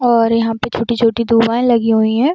और यहाँ पे छोटी-छोटी दुवाएं लगी हुई है।